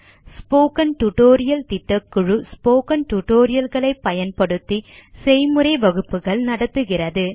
spoken tutorial திட்டக்குழு spoken tutorial களை பயன்படுத்தி செய்முறை வகுப்புகள் நடத்துகிறது